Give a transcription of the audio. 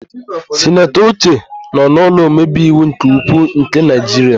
Sinatọ Uche nọ n'ụlọ omebeiwu nke ukwuu nke Naịjiria.